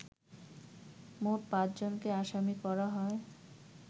মোট পাঁচজনকে আসামি করা হয়